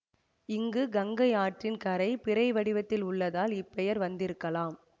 இங்கு கங்கை ஆற்றின் கரை பிறைவடிவத்தில் உள்ளதால் இப்பெயர் வந்திருக்கலாம்